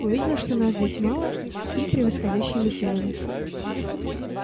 увидел что нас здесь мало и превосходящими силами